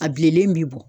A bilenlen bi bɔ